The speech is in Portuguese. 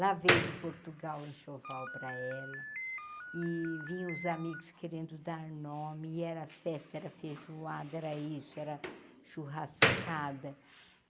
Lá veio de Portugal o enxoval para ela e vinha os amigos querendo dar nome e era festa, era feijoada, era isso, era churrascada.